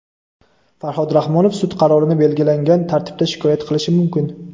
Farhod Rahmonov sud qarorini belgilangan tartibda shikoyat qilishi mumkin.